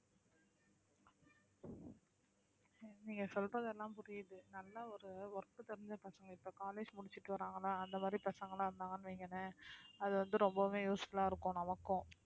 நீங்க சொல்றதெல்லாம் புரியுது நல்லா ஒரு work தெரிஞ்ச பசங்க இப்ப college முடிச்சிட்டு வராங்களா அந்த மாதிரி பசங்களாம் இருந்தாங்கன்னு வைங்களேன் அது வந்து ரொம்பவுமே useful ஆ இருக்கும் நமக்கும்